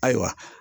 Ayiwa